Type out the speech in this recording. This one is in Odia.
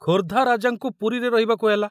ଖୋର୍ଦ୍ଧା ରାଜାଙ୍କୁ ପୁରୀରେ ରହିବାକୁ ହେଲା।